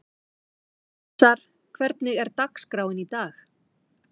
Öxar, hvernig er dagskráin í dag?